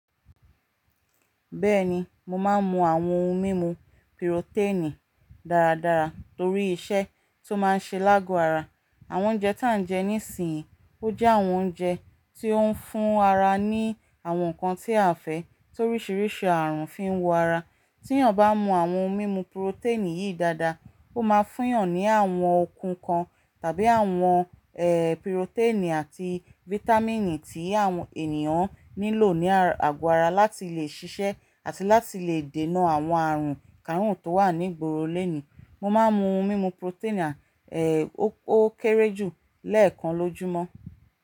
Bẹ́ẹ̀ni, mo máa ń mu àwọn ohun mímu piroténìì dáradára torí iṣẹ́ tó máa ń ṣe ni ágo ara. Àwọn oúnjẹ tí à ń jẹ nísìnyí, ó jẹ́ àwọn oúnjẹ tí ó ń fún ara ní àwọn nǹkan tí a fẹ́, torí ṣíríṣìí àrùn fi ń wo ara. Tí èèyàn bá mu àwọn ohun mímu piroténìì yìí dáadáa, ó máa fún èèyàn ní àwọn okùn kan tàbí àwọn ẹ, piroténìì àti vítámìnì tí àwọn ènìyàn nílò ní àgo ara láti lè ṣiṣẹ́ àti láti lè dènà àwọn àrùn kárùn tó wà ní gboro léni. Mo máa ń mu ohun mímu piroténìì à, ó kéré jù lẹ́ẹ̀kan lójúmọ́.